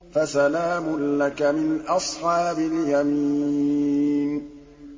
فَسَلَامٌ لَّكَ مِنْ أَصْحَابِ الْيَمِينِ